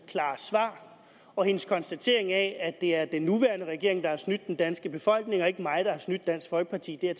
klare svar og hendes konstatering af at det er den nuværende regering der har snydt den danske befolkning og ikke mig der har snydt dansk folkeparti det er